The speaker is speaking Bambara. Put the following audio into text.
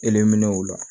Elen o la